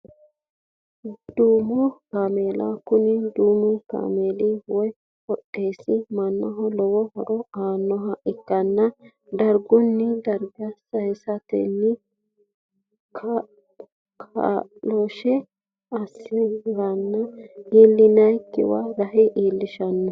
Duumo kaamela kuni duumu kaameeli woyi hodhishi manaho lowo horo aanoha ike darguni darga sayisateni kaaloshe ase ranke iilinanikiwa rahe iilishano.